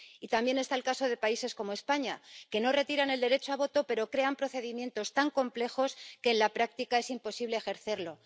Y también está el caso de países como España, que no retiran el derecho de voto, pero crean procedimientos tan complejos que en la práctica es imposible ejercerlo.